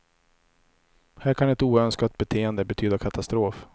Här kan ett oönskat beteende betyda katastrof.